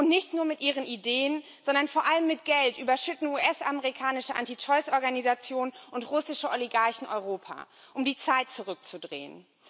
Nicht nur mit ihren Ideen, sondern vor allem mit Geld überschütten US amerikanische Anti Choice Organisationen und russische Oligarchen Europa, um die Zeit zurückzudrehen.